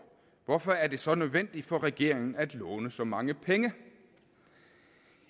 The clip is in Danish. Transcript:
hvorfor er det så nødvendigt for regeringen at låne så mange penge